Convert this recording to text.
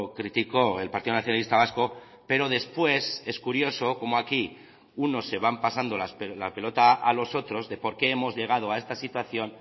criticó el partido nacionalista vasco pero después es curioso como aquí unos se van pasando la pelota a los otros de por qué hemos llegado a esta situación